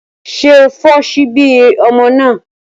Ṣé o fọ ṣíbí ọmọ náà?